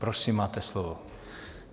Prosím, máte slovo.